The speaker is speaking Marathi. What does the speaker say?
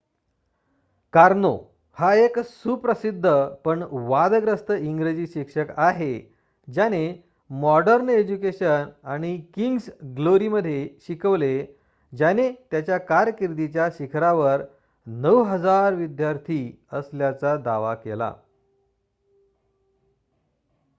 कार्नो हा एक सुप्रसिद्ध पण वादग्रस्त इंग्रजी शिक्षक आहे ज्याने मॉडर्न एज्युकेशन आणि किंग्स ग्लोरीमध्ये शिकवले ज्याने त्याच्या कारकिर्दीच्या शिखरावर ९,००० विद्यार्थी असल्याचा दावा केला